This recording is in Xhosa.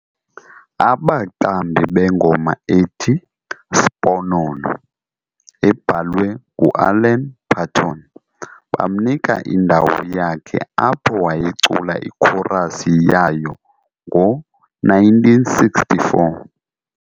Abaqambi bengoma ethi "Sponono", ebhalwe ngu"Alan Paton", bamnika indawo yakhe apho wayecula ikhorasi yayo ngo1964.